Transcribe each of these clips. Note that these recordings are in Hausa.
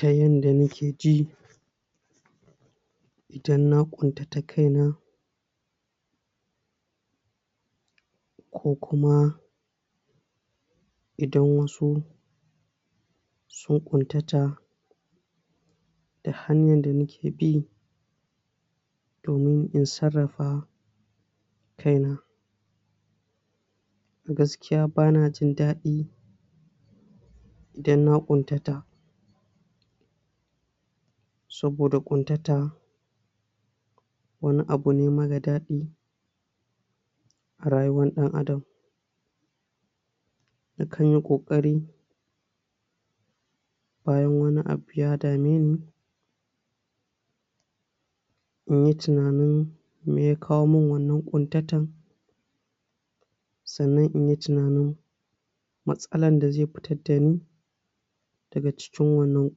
Ta yanda ni ke ji idan na ƙuntata kaina ko kuma idan wasu sun ƙuntata, ta hanyar da ni ke bi domin in sarrafa kaina. Gaskiya ba na jin daɗi idan na ƙuntata, saboda ƙuntata wani abune mara daɗi a rayuwar ɗan adam, nakan yi ƙoƙari bayan wani abu ya dame ni in yi tunanin meya kawo min wannan ƙuntatan sannan in yi tunanin matsalan da zai fitar da ni daga cikin wannan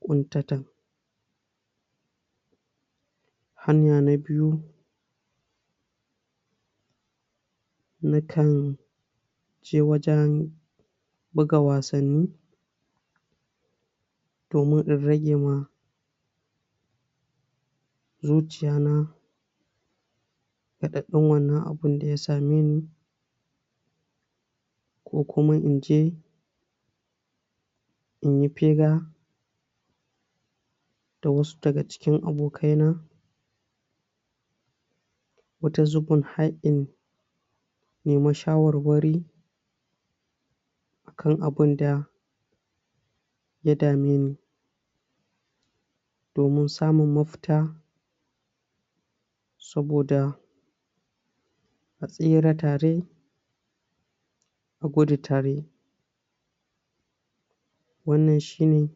ƙuntatan, hanya na biyu: Nakan je wajen buga wasanni domin in rage ma zuciyana raɗaɗin wannan abun da ya same ni, ko kuma in je in yi hira da wasu daga cikin abokaina, wata zubin har in nemi shawarwari a kan abunda ya dameni, domin samun mafita saboda a tsira tare a gudu tare, wannan shine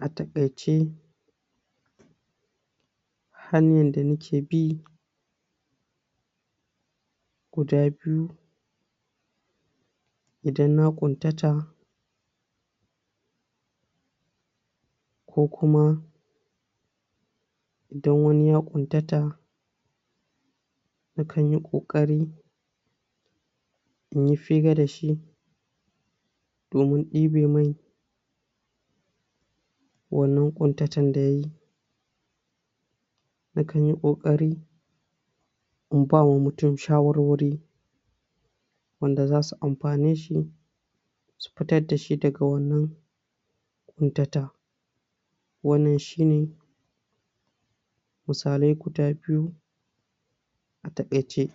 a taƙaice hanyan da ni ke bi guda biyu idan na ƙuntata ko kuma idan wani ya ƙuntata nakan yi ƙoƙari in yi fira da shi domin ɗibe mai wannan ƙuntatan da ya yi, nakan yi ƙoƙari in ba wa mutum shawarwari wanda za su amfane shi su fitar da shi daga wannan ƙuntata, wannan shine musalai guda biyu a taƙaice.